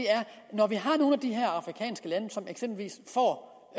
når vi har nogle af de her afrikanske lande som eksempelvis får